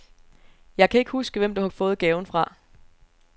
Jeg kan ikke huske, hvem du har fået gaven fra.